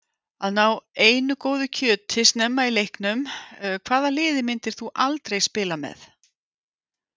Að ná einu góðu kjöti snemma í leiknum Hvaða liði myndir þú aldrei spila með?